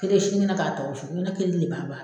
Kele sinikɛnɛ k'a ta u fɛ n ko ne kelen ne b'a ban.